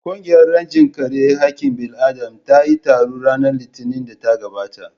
Ƙungiyar rajin kare haƙƙin bil'adama ta yi taro ranar Litinin ɗin da ta gabata